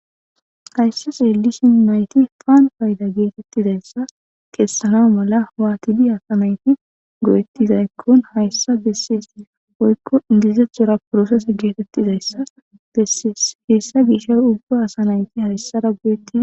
hayssa xeelishin nayti payda geetettizayssa keessana mala waatidi asanayti go7ettizaykkon hayssa dessiyes hoykko idizethora prosese geetettizayssas bessiyes heyssa gishay ubba asa nayti hayssara goyeti